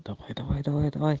давай давай давай давай